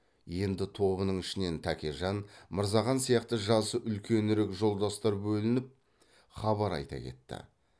енді тобының ішінен тәкежан мырзахан сияқты жасы үлкенірек жолдастар бөлініп хабар айта кетті